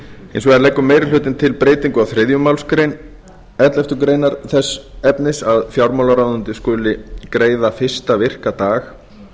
hins vegar leggur meiri hlutinn til breytingu á þriðju málsgrein elleftu greinar þess efnis að fjármálaráðuneytið skuli greiða fyrsta virka dag